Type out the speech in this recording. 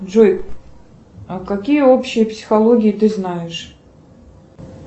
джой а какие общие психологии ты знаешь